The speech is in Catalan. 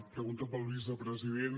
pregunta per al vicepresident